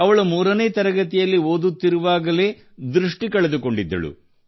ಅವಳು 3 ನೇ ತರಗತಿಯಲ್ಲಿ ಓದುತ್ತಿರುವಾಗಲೇ ದೃಷ್ಟಿ ಕಳೆದುಕೊಂಡಿದ್ದಳು